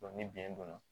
ni biyɛn don